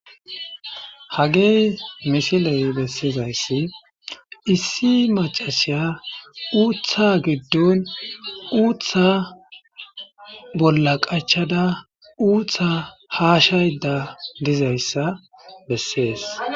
Hagey misiley bessizayssi issi macasiya uutha giddon uutha bolla qachada uutha haashayda dizayssa bessees.